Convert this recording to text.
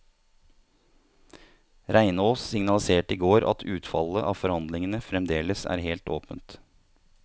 Reinås signaliserte i går at utfallet av forhandlingene fremdeles er helt åpent.